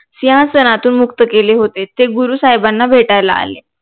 सिंहासनातून मुक्त केले होते ते गुरु साहेबांना भेटायला आले